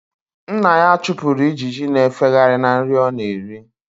Nna ya chụpụrụ ijiji na-efegharị na nri ọ na-eri